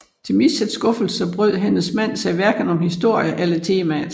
Til Mitchells skuffelse brød hendes mand sig hverken om historien eller temaet